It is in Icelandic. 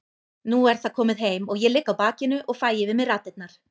Nú er það komið heim og ég ligg á bakinu og fæ yfir mig raddirnar.